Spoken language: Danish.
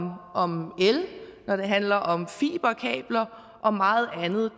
el når det handler om fiberkabler og meget andet